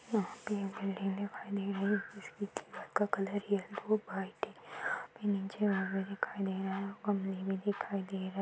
वहां पे एक बिल्डिंग दिखाई दे रही है जिसकी दीवाल का कलर येलो वाइट है यहाँ पे नीचे आदमी भी दिखाई दे रहे हैं कमरे भी दिखाई दे रहे --